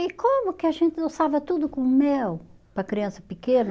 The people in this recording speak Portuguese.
E como que a gente doçava tudo com mel praa criança pequeno?